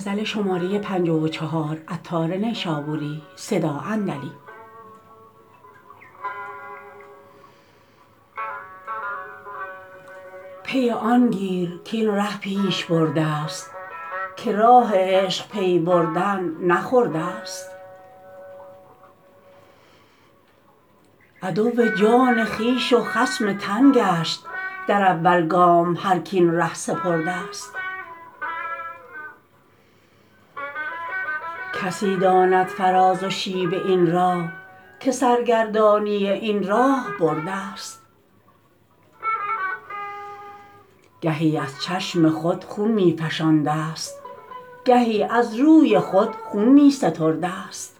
پی آن گیر کاین ره پیش بردست که راه عشق پی بردن نه خردست عدو جان خویش و خصم تن گشت در اول گام هرک این ره سپردست کسی داند فراز و شیب این راه که سرگردانی این راه بردست گهی از چشم خود خون می فشاندست گهی از روی خود خون می ستردست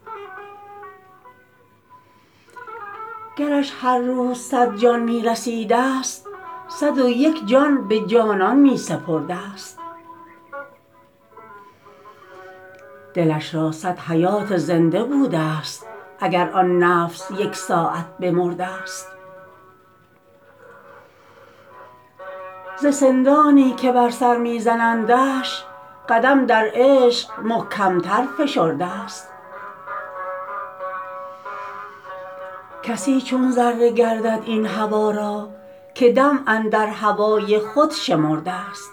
گرش هر روز صد جان می رسیدست صد و یک جان به جانان می سپردست دلش را صد حیات زنده بودست اگر آن نفس یک ساعت بمردست ز سندانی که بر سر می زنندش قدم در عشق محکم تر فشردست کسی چون ذره گردد این هوا را که دم اندر هوای خود شمردست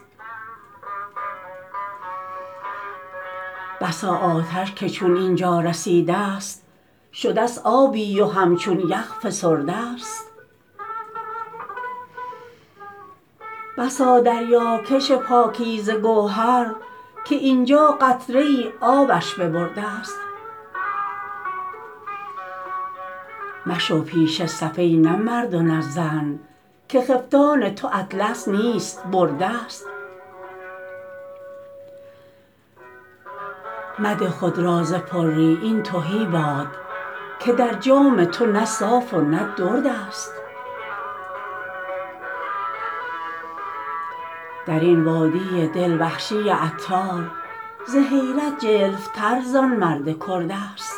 بسا آتش که چون اینجا رسیدست شدست آبی و همچون یخ فسردست بسا دریا کش پاکیزه گوهر که اینجا قطره ای آبش ببردست مشو پیش صف ای نه مرد و نه زن که خفتان تو اطلس نیست بردست مده خود را ز پری این تهی باد که در جام تو نه صاف و نه دردست درین وادی دل وحشی عطار ز حیرت جلف تر زان مرد کردست